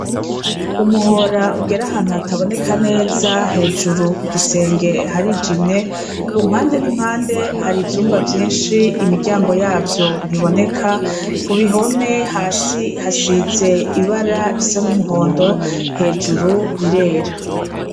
Umuhora ugera ahantu hataboneka neza hejuru ku gisenge harijimye ku mpande n'impande hari ivyumba vyishi imiryango yavyo ntiboneka kuruhome hasi hasize ibara risa n'umuhondo hejuru rirera.